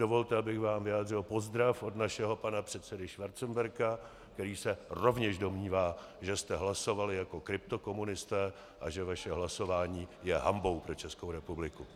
Dovolte, abych vám vyjádřil pozdrav od našeho pana předsedy Schwarzenberga, který se rovněž domnívá, že jste hlasovali jako kryptokomunisté a že vaše hlasování je hanbou pro Českou republiku.